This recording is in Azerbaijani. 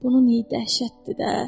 Bunun iyi dəhşətdir də.